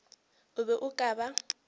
o be o ka ba